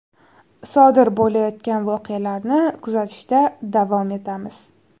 Sodir bo‘layotgan voqealarni kuzatishda davom etamiz.